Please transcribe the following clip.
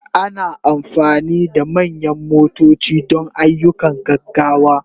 Ana amfani da manyan motoci don ayyukan gaggawa.